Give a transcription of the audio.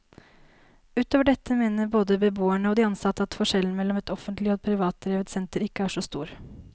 Utover dette mener både beboerne og de ansatte at forskjellen mellom et offentlig og et privatdrevet senter ikke er så stor.